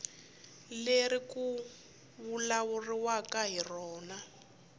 leri ku vulavuriwaka hi rona